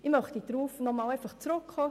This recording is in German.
Ich möchte noch einmal darauf zurückkommen.